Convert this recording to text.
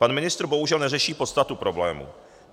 Pan ministr bohužel neřeší podstatu problému.